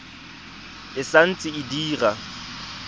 e sa ntse e dira